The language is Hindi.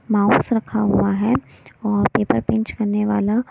माउस रखा हुआ हैऔर पेपर पिंच करने वाला--